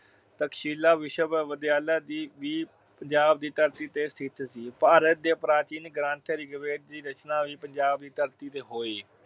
ਤਕਸ਼ੀਲਾ ਵਿਸ਼ਵਵਿਦਿਆਲਾ ਦੀ ਵੀ ਪੰਜਾਬ ਦੀ ਧਰਤੀ ਤੇ ਸਥਿਤ ਸੀ। ਭਾਰਤ ਦੇ ਪ੍ਰਾਚੀਨ ਗ੍ਰੰਥ ਰਿਗਵੇਦ ਦੀ ਰਚਨਾ ਵੀ ਪੰਜਾਬ ਦੀ ਧਰਤੀ ਤੇ ਹੋਈ।